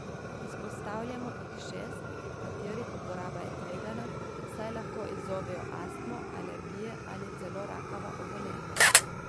Izpostavljamo jih šest, katerih uporaba je tvegana, saj lahko izzovejo astmo, alergije ali celo rakava obolenja.